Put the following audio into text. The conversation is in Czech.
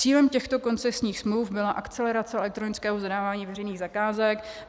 Cílem těchto koncesních smluv byla akcelerace elektronického zadávání veřejných zakázek.